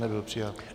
Nebyl přijat.